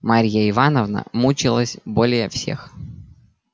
марья ивановна мучилась более всех